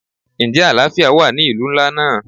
Ǹjẹ́ àlàáfíà wà ní ìlú ńlá náà?